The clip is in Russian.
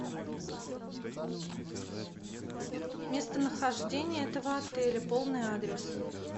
местонахождение этого отеля полный адрес